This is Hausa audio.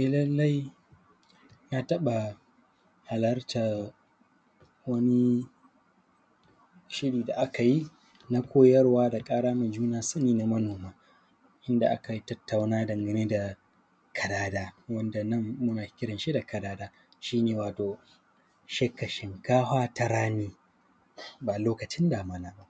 E lallai na taƃa halartar wani shiri da aka yin a koyarwa da ƙara wa juna sani na manoma. Wanda akai tattauna dangane da kadada, wanda nan muna kiran shi da kadada, shi ne wato, shifka shinkahwa ta rani ba lokacin damina ba.